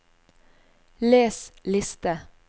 les liste